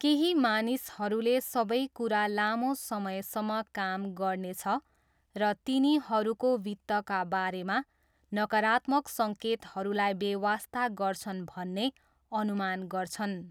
केही मानिसहरूले सबै कुरा लामो समयसम्म काम गर्नेछ र तिनीहरूको वित्तका बारेमा नकारात्मक सङ्केतहरूलाई बेवास्ता गर्छन् भन्ने अनुमान गर्छन्।